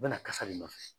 U bɛna kasa de nɔfɛ